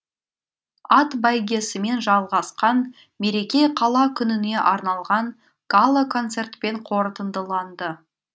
ат бәйгесімен жалғасқан мереке қала күніне арналған гала концертпен қорытындыланды